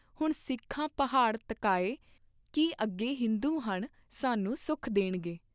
ਹੁਣ ਸਿੱਖਾਂ ਪਹਾੜ ਤਕਾਏ ਕੀ ਅੱਗੇ ਹਿੰਦੂ ਹਨ ਸਾਨੂੰ ਸੁਖ ਦੇਣਗੇ।